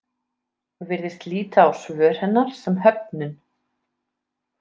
Virðist líta á svör hennar sem höfnun.